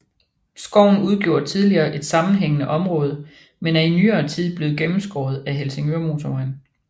Skoven udgjorde tidligere et sammenhængende område men er i nyere tid blevet gennemskåret af Helsingørmotorvejen